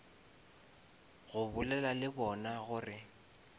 go bolela le bona gore